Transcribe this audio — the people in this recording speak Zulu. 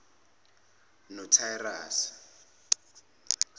notirase